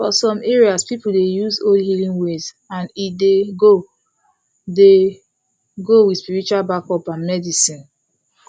for some areas people dey use old healing ways and e dey go dey go with spiritual backup and medicine